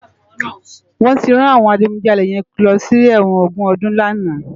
Wòn ti rán áwòn àjigúnjàlé yèn lòsi èwòn ógún òdún làná